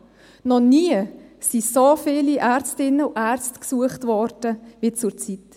Noch nie wurden so viele Ärztinnen und Ärzte gesucht wie zurzeit.